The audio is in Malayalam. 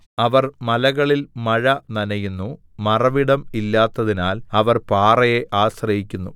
അവർ മലകളിൽ മഴ നനയുന്നു മറവിടം ഇല്ലാത്തതിനാൽ അവർ പാറയെ ആശ്രയിക്കുന്നു